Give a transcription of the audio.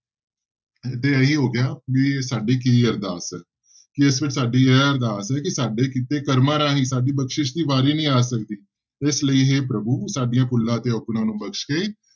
ਤੇ ਇਹੀ ਹੋ ਗਿਆ ਵੀ ਸਾਡੀ ਕੀ ਅਰਦਾਸ ਹੈ ਤੇ ਇਸ ਵਿੱਚ ਸਾਡੀ ਇਹ ਅਰਦਾਸ ਹੈ ਕਿ ਸਾਡੇ ਕੀਤੇ ਕਰਮਾਂ ਰਾਹੀਂ ਸਾਡੀ ਬਖ਼ਸ਼ਿਸ਼ ਦੀ ਵਾਰੀ ਨੀ ਆ ਸਕਦੀ, ਇਸ ਲਈ ਹੇ ਪ੍ਰਭੂ ਸਾਡੀਆਂ ਭੁੱਲਾਂ ਤੇ ਅੋਗੁਣਾਂ ਨੂੰ ਬਖ਼ਸ਼ ਕੇ